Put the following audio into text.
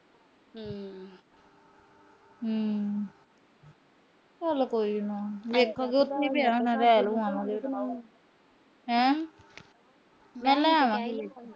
ਚਲ ਕੋਈ ਨਾ। ਵੇਖੋ ਉਥੇ ਪਿਆ ਹੋਣਾ ਲੈ ਲੂ ਆਵਾਂਗੇ। ਹੈਂ।